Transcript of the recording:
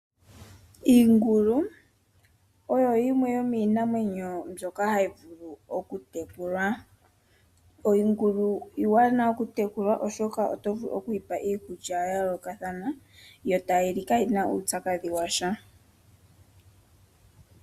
Iingulu oyo yimwe yomiinamwenyo mbyoka hayi vulu okutekulwa. Iingulu iiwanawa okutekulwa oshoka oto vulu okuyipa iikulya yayoolokathana yo tayili kaayina uupyakadhi washa.